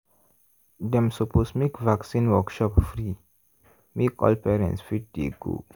dem suppose make vaccine workshop free make all parents fit dey go.